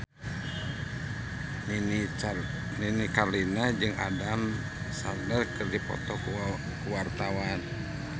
Nini Carlina jeung Adam Sandler keur dipoto ku wartawan